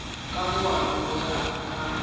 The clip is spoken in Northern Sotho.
ka moabi go ya ka